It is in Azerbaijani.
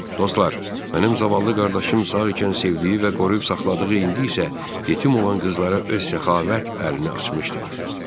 Dostlar, mənim zavallı qardaşım sağ ikən sevdiyi və qoruyub saxladığı, indi isə yetim olan qızlara öz səxavət əlini açmışdır.